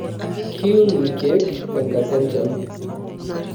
kiun irkeek tenkata enchan?